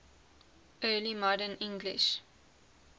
early modern english